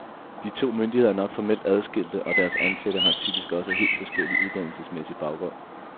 De to myndigheder er nok formelt adskilte, og deres ansatte har typisk også helt forskellig uddannelsesmæssig baggrund.